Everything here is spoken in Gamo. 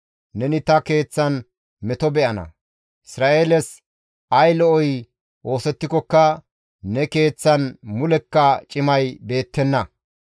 Neni ta keeththan meto be7ana; Isra7eeles ay lo7oy oosettikokka ne keeththan mulekka cimay beettenna.